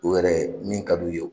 U yɛrɛ min ka d'u ye